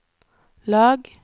lag